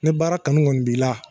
Ne baara kanu kɔni b'i la